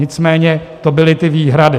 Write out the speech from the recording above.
Nicméně to byly ty výhrady.